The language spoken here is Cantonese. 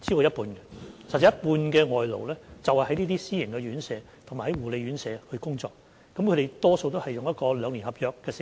有一半外勞在這些私營院舍及護理院舍工作，他們大多是簽訂兩年合約的。